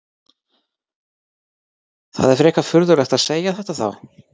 Það er frekar furðulegt að segja þetta þá?